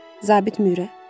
Zabit Mührer.